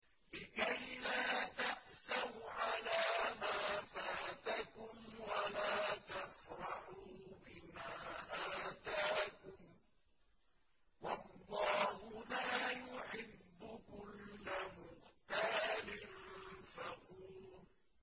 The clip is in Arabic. لِّكَيْلَا تَأْسَوْا عَلَىٰ مَا فَاتَكُمْ وَلَا تَفْرَحُوا بِمَا آتَاكُمْ ۗ وَاللَّهُ لَا يُحِبُّ كُلَّ مُخْتَالٍ فَخُورٍ